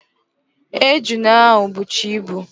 Ejuna ahụ bụcha ibu